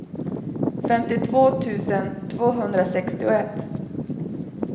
femtiotvå tusen tvåhundrasextioett